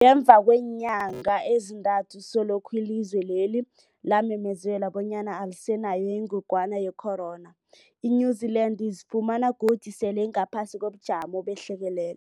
Ngemva kweenyanga ezintathu selokhu ilizwe lela lamemezela bonyana alisenayo ingogwana ye-corona, i-New-Zealand izifumana godu sele ingaphasi kobujamo behlekelele.